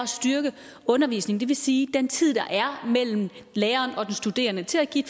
styrke undervisningen det vil sige den tid der er mellem læreren og den studerende til at give